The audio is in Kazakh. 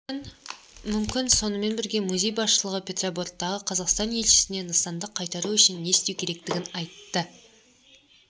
мүмкін сонымен бірге музей басшылығы петербордағы қазақстан елшісіне нысанды қайтару үшін не істеу керектігін айтты